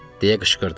Deyə qışqırdılar.